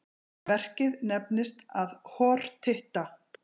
Verkið nefndist að hortitta.